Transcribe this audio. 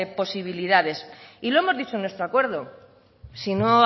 posibilidades y lo hemos dicho en nuestro acuerdo si no